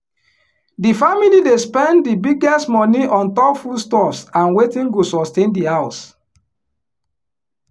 di family dey spend di biggest money on top foodstuffs and wetin go sustain di house